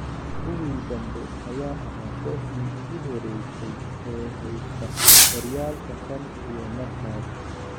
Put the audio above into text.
Kuwii dambe ayaa ahaa kooxdii ugu horeysay ee heysata horyaalka tan iyo markaas.